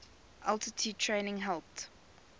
altitude training helped